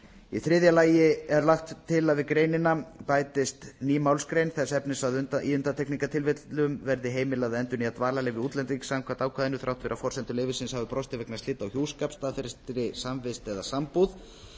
í þriðja lagi er lagt til að við greinina bætist ný málsgrein þess efnis að í undantekningartilvikum verði heimilað að endurnýja dvalarleyfi útlendings samkvæmt ákvæðinu þrátt fyrir að forsendur leyfisins hafi brostið vegna slita á hjúskap staðfestri samvist eða sambúð